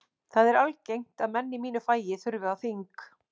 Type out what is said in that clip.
Það er algengt að menn í mínu fagi þurfi á þing.